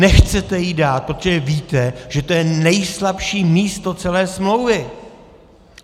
Nechcete ji dát, protože víte, že to je nejslabší místo celé smlouvy.